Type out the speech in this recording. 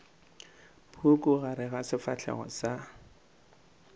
puku gare ga sefahlego sa